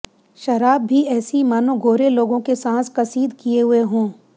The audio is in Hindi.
शराब भी ऐसी मानो गोरे लोगों के सांस कसीद किए हुए हों